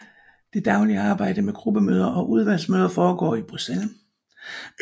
Det daglige arbejde med gruppemøder og udvalgsmøder foregår i Bruxelles